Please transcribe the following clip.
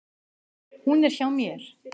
Hún er hjá mér.